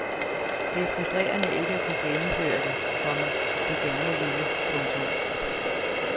Det er frustrerende ikke at kunne gennemføre det, komma du gerne ville. punktum